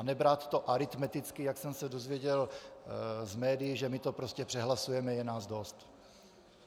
A nebrat to aritmeticky, jak jsem se dozvěděl z médií, že my to prostě přehlasujeme, je nás dost.